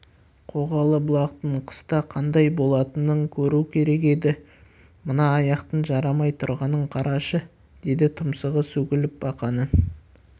қоғалы бұлақтың қыста қандай болатынын көру керек еді мына аяқтың жарамай тұрғанын қарашы деді тұмсығы сөгіліп бақаның